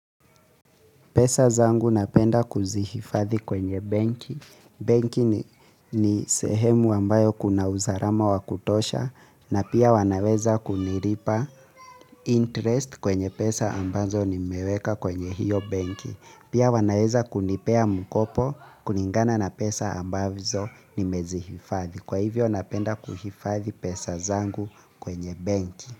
Pesa zangu napenda kuzihifadhi kwenye banki. Banki ni sehemu ambayo kuna usalama wa kutosha na pia wanaweza kunilipa interest kwenye pesa ambazo nimeweka kwenye hiyo banki. Pia wanaweza kunipea mkopo kulingana na pesa ambazo nimezihifadhi. Kwa hivyo napenda kuhifathi pesa zangu kwenye banki.